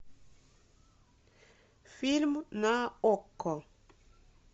фильм на окко